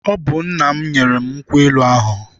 Ọ bụ nna m nyere m nkwụ elu ahụ.